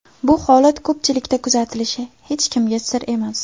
Bu holat ko‘pchilikda kuzatilishi hech kimga sir emas.